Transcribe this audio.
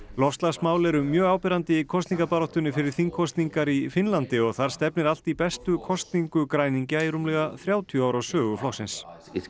loftslagsmál eru mjög áberandi í kosningabaráttunni fyrir þingkosningar í Finnlandi og þar stefnir allt í bestu kosningu græningja í rúmlega þrjátíu ára sögu flokksins